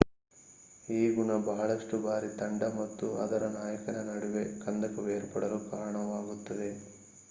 ಈ ಗುಣ ಬಹಳಷ್ಟು ಬಾರಿ ತಂಡ ಮತ್ತು ಅದರ ನಾಯಕನ ನಡುವೆ ಕಂದಕವೇರ್ಪಡಲು ಕಾರಣವಾಗುತ್ತದೆ